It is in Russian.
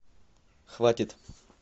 хватит